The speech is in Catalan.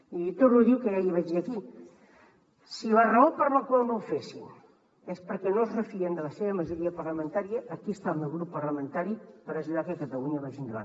i li torno a dir el que ja li vaig dir aquí si la raó per la qual no ho fessin és perquè no es refien de la seva majoria parlamentària aquí està el meu grup parlamentari per ajudar que catalunya vagi endavant